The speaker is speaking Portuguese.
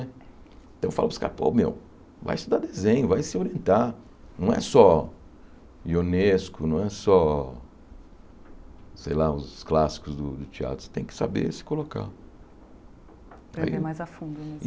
Então eu falo para os caras, pô, meu, vai estudar desenho, vai se orientar, não é só ionesco, não é só, sei lá, os clássicos do do teatro, você tem que saber se colocar.